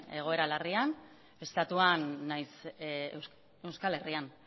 egoera larrian estatuan nahiz euskal herrian